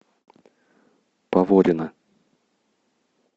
поворино